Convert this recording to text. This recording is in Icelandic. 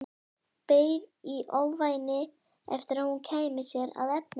Beið í ofvæni eftir að hún kæmi sér að efninu.